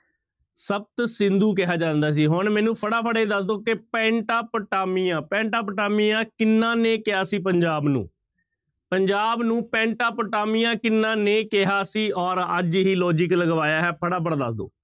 ਸਪਤ ਸਿੰਧੂ ਕਿਹਾ ਜਾਂਦਾ ਸੀ ਹੁਣ ਮੈਨੂੰ ਫਟਾਫਟ ਇਹ ਦੱਸ ਦਓ ਕਿ ਪੈਂਟਾ ਪੁਟਾਮੀਆ, ਪੈਂਟਾ ਪੁਟਾਮੀਆ ਕਿਹਨਾਂ ਨੇ ਕਿਹਾ ਸੀ ਪੰਜਾਬ ਨੂੰ? ਪੰਜਾਬ ਨੂੰ ਪੈਂਟਾ ਪੁਟਾਮੀਆਂ ਕਿਹਨਾਂ ਨੇ ਕਿਹਾ ਸੀ ਔਰ ਅੱਜ ਹੀ logic ਲਗਵਾਇਆ ਹੈ ਫਟਾਫਟ ਦੱਸ ਦਓ।